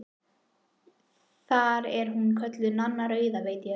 Þar er hún kölluð Nanna rauða, veit ég.